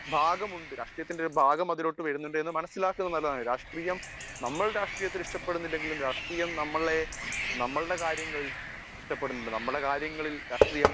Speaker 1 ഭാഗമുണ്ട് രാഷ്ട്രീയത്തിന്റെ ഒരു ഭാഗം അതിലോട്ടു വരുന്നുണ്ട് എന്ന് മനസ്സിലാക്കുന്നത് നല്ലതാണ് നമ്മൾ രാഷ്ട്രീയത്തെ ഇഷ്ടപെടുന്നില്ലെങ്കിലും രാഷ്ട്രീയം നമ്മളുടെ കാര്യങ്ങൾ ഇഷ്ടപ്പെടുന്നുണ്ട് . നമ്മുടെ കാര്യങ്ങളിൽ രാഷ്ട്രീയം